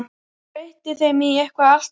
Breytti þeim í eitthvað allt annað.